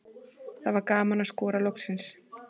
Það var gaman að skora loksins.